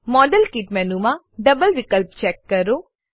model kit મેનુમાં double વિકલ્પ check કરો